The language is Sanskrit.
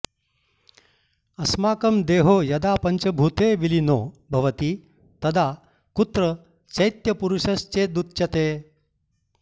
अस्माकं देहो यदा पञ्चभूते विलीनो भवति तदा कुत्र चैत्यपुरुषश्चेदुच्यते